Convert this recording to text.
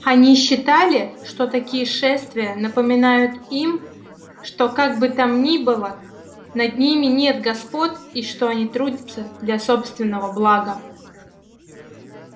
они считали что такие шествия напоминают им что как бы там ни было над ними нет господ и что они трудятся для собственного блага